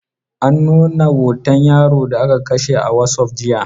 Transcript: An nuna hoton yaro da aka kashe a wasup jiya.